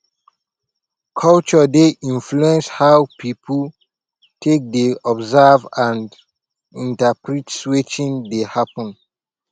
culture dey influence how pipo take dey observe and interprete wetin dey happen